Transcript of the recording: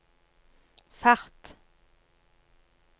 fart